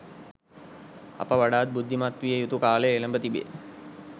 අප වඩාත් බුද්ධමත්විය යුතු කාලය එළැඹ තිබේ